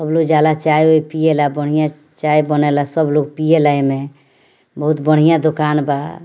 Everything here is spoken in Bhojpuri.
सब लोग जा ला चाय उइ पिए ला बढ़िया चाय बने ला सब लोग पिए ला एमे बहुत बढ़िया दुकान बा |